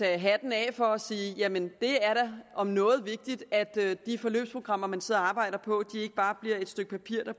hatten af for og sige jamen det er da om noget vigtigt at de forløbsprogrammer man sidder og arbejder på ikke bare bliver et stykke papir der